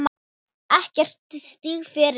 Ekkert stig fyrir þennan.